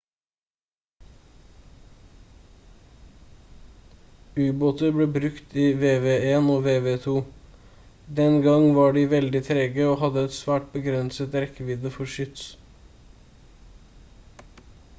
ubåter ble brukt i vv1 og vv2. den gang var de veldig trege og hadde et svært begrenset rekkevidde for skyts